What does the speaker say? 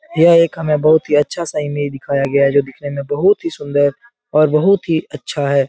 यह एक हमे बहुत ही अच्छा सा इमेज दिखाया गया है जो दिखने में बहुत ही सुन्दर और बहुत ही अच्छा है ।